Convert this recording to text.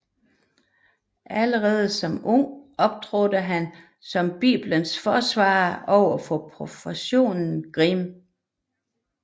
Allerede som ung optrådte han som Biblens forsvarer over for professor Grimm